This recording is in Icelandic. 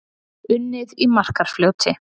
Unnið í Markarfljóti